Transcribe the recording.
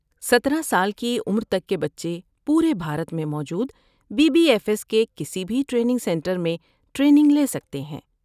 سترہ سال کی عمر تک کے بچے پورے بھارت میں موجود بی بی ایف ایس کے کسی بھی ٹریننگ سنٹر میں ٹریننگ لے سکتے ہیں